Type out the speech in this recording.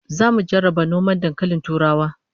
Zamu jarraba noman dankalin turawa